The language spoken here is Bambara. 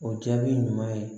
O jaabi ɲuman ye